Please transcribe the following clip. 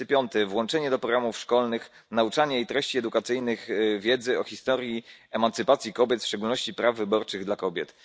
35, włączenie do programów szkolnych, nauczania i treści edukacyjnych wiedzy o historii emancypacji kobiet, w szczególności praw wyborczych dla kobiet.